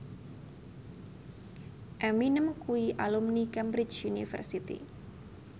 Eminem kuwi alumni Cambridge University